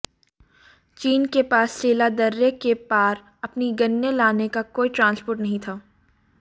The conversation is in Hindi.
चीन के पास सेला दर्रे के पार अपनी गनें लाने का कोई ट्रांसपोर्ट नहीं था